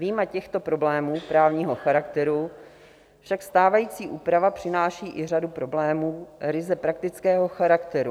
Vyjma těchto problémů právního charakteru však stávající úprava přináší i řadu problémů ryze praktického charakteru.